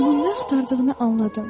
Mən nə axtardığını anladım.